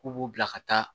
K'u b'u bila ka taa